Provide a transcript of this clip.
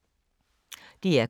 DR K